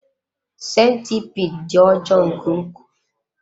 Sentipiid dị ọjọọ nke ukwuu.